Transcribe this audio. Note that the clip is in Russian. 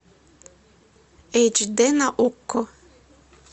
эйч дэ на окко